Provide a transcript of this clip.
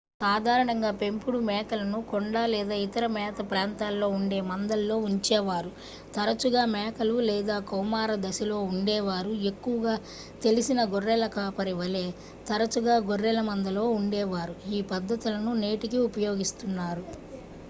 సాధారణంగా పెంపుడు మేకలను కొండ లేదా ఇతర మేత ప్రాంతాల్లో ఉండే మందల్లో ఉంచేవారు తరచుగా మేకలు లేదా కౌమారదశలో ఉండే వారు ఎక్కువగా తెలిసిన గొర్రెల కాపరి వలే తరచుగా గొర్రెల మందలో ఉండేవారు ఈ పద్దతులను నేటికీ ఉపయోగిస్తున్నారు